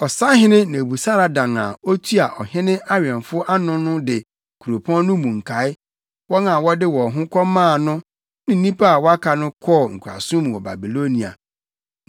Ɔsahene Nebusaradan a otua ɔhene awɛmfo ano no de kuropɔn no mu nkae, wɔn a wɔde wɔn ho kɔmaa no ne nnipa a wɔaka no kɔɔ nkoasom mu wɔ Babilonia.